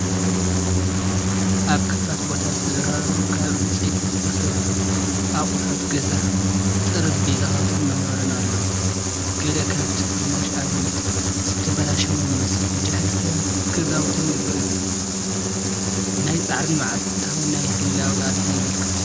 ኣብ ክፉት ቦታ ዝተደራረቡ ካብ ዕንጨይቲ ዝተሰርሑ ኣቑሑት ገዛ፣ ጠረጴዛታትን መንበርን ኣለዉ። ገለ ካብቲ ፍርናሽ ኣረጊትን ዝተበላሸወን ይመስል። ብድሕሪት ሰባትን ገዛውትን ይረኣዩ። ናይ ጻዕርን መዓልታዊ ናይ ህላወ ቃልስን የመልክት።